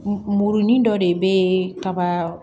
Muruni dɔ de bɛ kaba